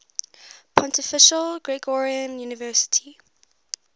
pontifical gregorian university